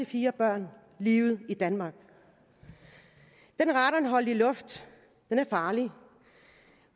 fire børn livet i danmark den radonholdige luft er farlig